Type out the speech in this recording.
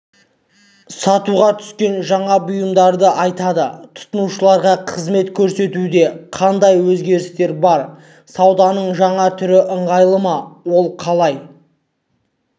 сатуға түскен жаңа бұйымдарды айтады тұтынушыларға қызмет көрсетуде қандай өзгерістер бар сауданың жаңа түрлері ыңғайлы ма ол қалай